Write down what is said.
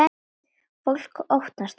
Fólk óttast okkur.